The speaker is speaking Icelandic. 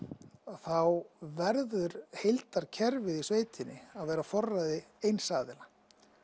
þá verður heildarkerfið í sveitinni að vera á forræði eins aðila